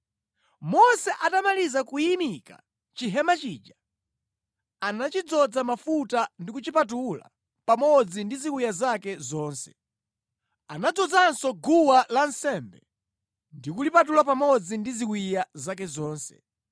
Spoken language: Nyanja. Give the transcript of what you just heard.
Mose atamaliza kuyimika chihema chija, anachidzoza mafuta ndi kuchipatula pamodzi ndi ziwiya zake zonse. Anadzozanso guwa lansembe ndi kulipatula pamodzi ndi ziwiya zake zonse.